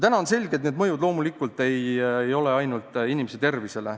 Täna on selge, et see olukord ei avalda mõju mitte ainult inimese tervisele.